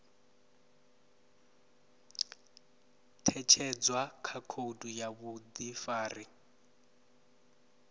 ṅetshedzwa kha khoudu ya vhuḓifari